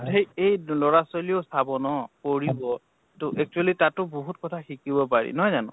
সেই এই লʼৰা ছোৱালীও চাব ন, পঢ়িব তʼ actually তাতো বহুত কথা শিকিব পাৰি নহয় জানো?